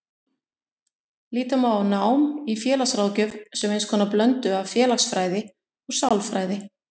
Líta má á nám í félagsráðgjöf sem eins konar blöndu af félagsfræði og sálfræði.